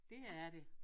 Det er det